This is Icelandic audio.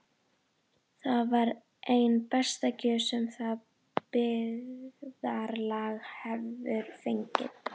Það var ein besta gjöf sem það byggðarlag hefur fengið.